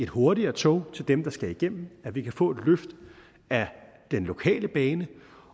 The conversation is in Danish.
hurtigere tog til dem der skal igennem at vi kan få et løft af den lokale bane